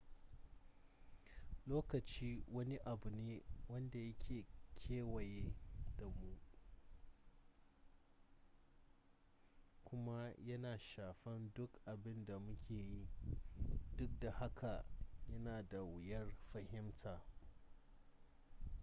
lokaci wani abu ne wanda yake kewaye da mu kuma yana shafan duk abin da muke yi duk da haka yana da wuyar fahimta